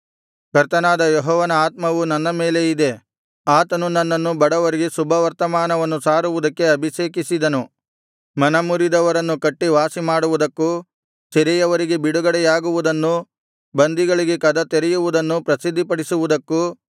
ಕರ್ತನಾದ ಯೆಹೋವನ ಆತ್ಮವು ನನ್ನ ಮೇಲೆ ಇದೆ ಆತನು ನನ್ನನ್ನು ಬಡವರಿಗೆ ಶುಭವರ್ತಮಾನವನ್ನು ಸಾರುವುದಕ್ಕೆ ಅಭಿಷೇಕಿಸಿದನು ಮನಮುರಿದವರನ್ನು ಕಟ್ಟಿ ವಾಸಿಮಾಡುವುದಕ್ಕೂ ಸೆರೆಯವರಿಗೆ ಬಿಡುಗಡೆಯಾಗುವುದನ್ನು ಬಂದಿಗಳಿಗೆ ಕದ ತೆರೆಯುವುದನ್ನು ಪ್ರಸಿದ್ಧಿಪಡಿಸುವುದಕ್ಕೂ